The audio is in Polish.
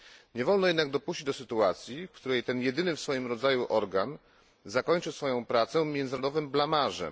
Nie wolno jednak dopuścić do sytuacji, w której ten jedyny w swoim rodzaju organ zakończy swoją pracę międzynarodowym blamażem.